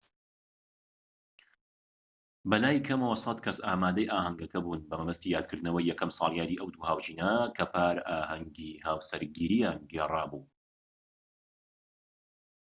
بەلای کەمەوە ١٠٠ کەس ئامادەی ئاهەنگەکە بوون، بە مەبەستی یادکردنەوەی یەکەم ساڵیادی ئەو دوو هاوژینە کە پار ئاهەنگی هاوسەرگیرییان گێڕابوو